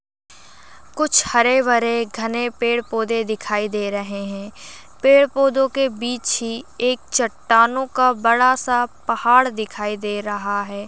कुछ हरे भरे घने पेड़ पोधे दिखाई दे रहे है। पेड़ पोधे के बिच ही एक चट्टानों को बड़ा सा पहाड़ दिखाई दे रहा है।